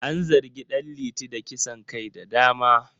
An zargi Dan liti da kisan kai da dama